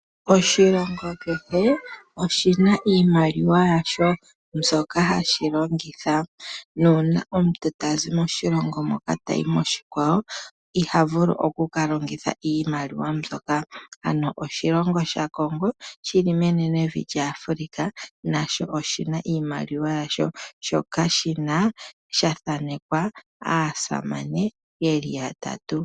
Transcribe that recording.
Oshilingo kehe oshina iimaliwa yasho mbyoka hashi longitha. Uuna omuntu tazi moshilongo moka tayi moshikwawo ihavulu oku kalongitha iimaliwa mbyoka . Ano oshilongo sha Congo shili menenevi lya Africa nasho oshina iimaliwa yasho mbyoka yathanekwa aasamane yeli yatatu.